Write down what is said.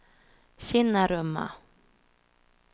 Kinnarumma